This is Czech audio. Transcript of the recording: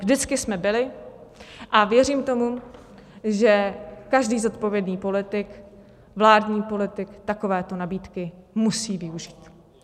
Vždycky jsme byli a věřím tomu, že každý zodpovědný politik, vládní politik takovéto nabídky musí využít.